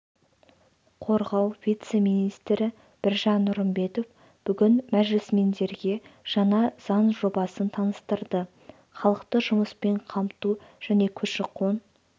қорғау вице-министрі біржан нұрымбетов бүгін мәжілісмендерге жаңа заң жобасын таныстырды халықты жұмыспен қамту және көші-қон